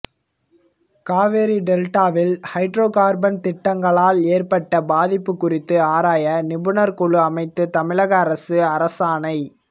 காவிரி டெல்டாவில் ஹைட்ரோகார்பன் திட்டங்களால் ஏற்பட்ட பாதிப்பு குறித்து ஆராய நிபுணர் குழு அமைத்து தமிழக அரசு அரசாணை